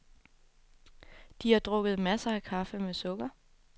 De har drukket masser af kaffe med sukker.